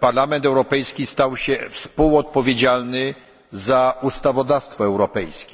Parlament Europejski stał się współodpowiedzialny za ustawodawstwo europejskie.